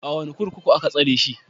A wane kurkuku aka tsare shi?